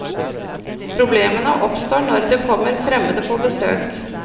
Problemene oppstår når det kommer fremmede på besøk.